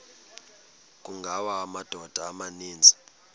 kungawa amadoda amaninzi